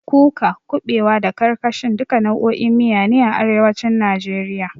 Kuka, kuɓewa, da karkashin, duka nau'o'in miya ne a arewacin najeriya.